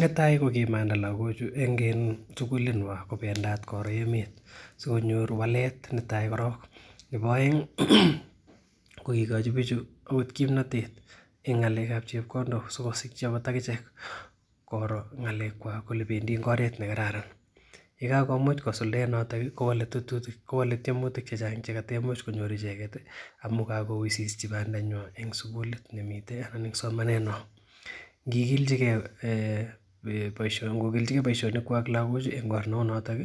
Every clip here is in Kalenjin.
Netai kokimanda lakochu konyor walet, nebo aeng ih kokigochi bichu agot kimnatet en ng'alekab chebkondok sigosikyi agot akichek koro ng'alek kwak kole bendii en oret nekararan yekakomuch kosuldaen noton ih kowale tetutik, kowale tiemutik chechang chekataimuch kosuldaen icheket ih, amu kakoususie banda nyuan en sugulit nemite anan nekisimanen ngikilichike baisionik kwak kwa lagochu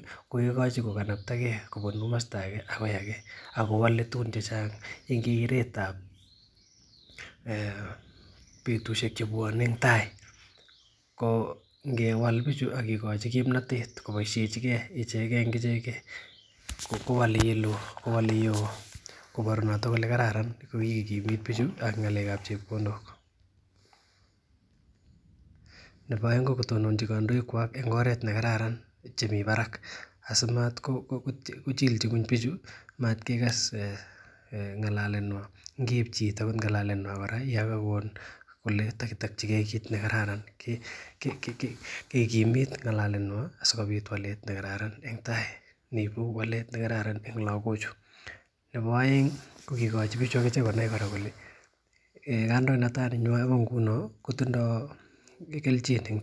kokanaptage en keretab betusiek choton ko ngewal bichu akikochi kimnatet kobsishechi ke icheken en icheken kowale yeloo kobaru noto kole kararan yeikimit bichu ak ng'alekab chebkondok. Nebo aeng ko kotononchi kandoik kwak en oret nekararan nemi barak asimatko chichi ngueny bichu matkekas ng'alalet nyuan. Mat kekas ng'alalet nyuan kora Yoon kole takitokikee kikimit ng'alalet nyuan en ortinuek nekararan en tai. Koibu walet nekararan en lakochu, nebo aeng ih kokigochi bichu agichek konai kole kandoinatet ko ingunon kotindo kelchin.